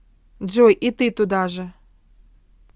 джой и ты туда же